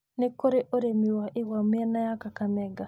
Nĩ kũrĩ ũrĩmi wa igwa mĩena ya Kakamega.